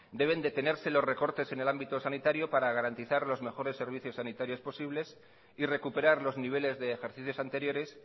deben detenerse los recortes en el ámbito sanitario para garantizar los mejores servicios sanitarios posibles y recuperar los niveles de ejercicios anteriores